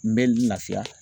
N bɛ n lafiya.